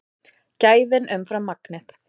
Gæðin umfram magnið